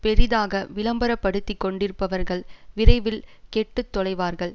பெரிதாக விளம்பர படுத்தி கொண்டிருப்பவர்கள் விரைவில் கெட்டு தொலைவார்கள்